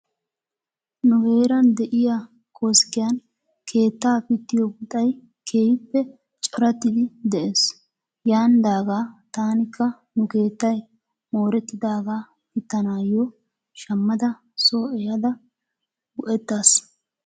Nu heeran de'iyaa koskkiyan keettaa pittiyoo puxxay keehippe corattidi de'es. Yaanidaagaa tankka nu keettay moorettidaagaa pittanaayo shammada soo ehada go'ettas.